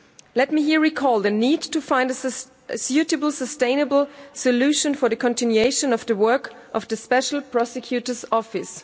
Let me here recall the need to find a suitable, sustainable solution for the continuation of the work of the Special Prosecutor's office.